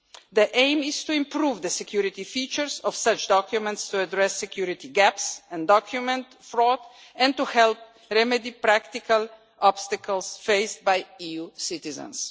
The aim is to improve the security features of such documents to address security gaps and document fraud, and to help remedy practical obstacles faced by EU citizens.